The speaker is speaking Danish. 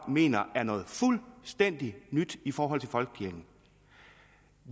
mener er noget fuldstændig nyt i forhold til folkekirken